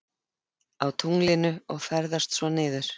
Á tunglinu og ferðast svo niður?